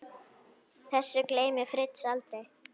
Þessu gleymir Fritz aldrei.